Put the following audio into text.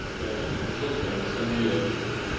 да ещё служил прямо ностальгия